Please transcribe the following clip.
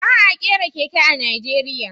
Ba a kera keke a Najeriya